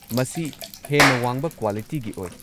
ꯃꯁꯤ ꯍꯦꯟꯅ ꯋꯥꯡꯕ ꯀ꯭ꯋꯥꯂꯤꯇꯤꯒꯤ ꯑꯣꯏ꯫